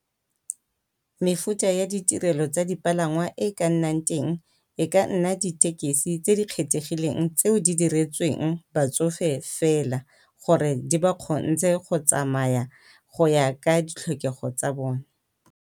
Mefuta ya ditirelo tsa dipalangwa e e ka nnang teng e ka nna ditekesi tse di kgethegileng tseo di diretsweng batsofe fela, gore di ba kgontshe go tsamaya go ya ka ditlhokego tsa bone.